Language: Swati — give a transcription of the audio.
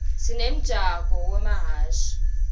sinemjako wemahhashi